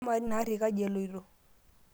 amaa ina aarrri kaji eloito